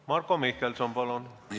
Marko Mihkelson, palun!